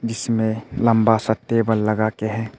इसमें लंबा सा टेबल लगा के है।